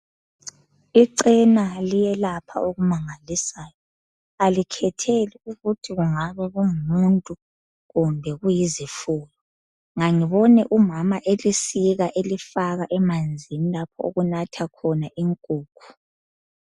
Ichena liyelapha okumangalisayo, alikhetheli ukuthi kungabe kungumuntu kumbe kuyizifuyo. Ngangibone umama elisika elifaka emanzini lapho okunatha khona inkukhu.